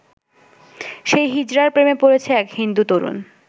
সেই হিজড়ার প্রেমে পড়েছে এক হিন্দু তরুণ।